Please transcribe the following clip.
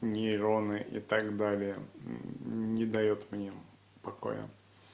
нейроны и так далее не даёт мне покоя